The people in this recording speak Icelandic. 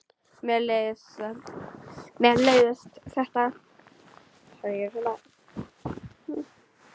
Mér leiðist þetta.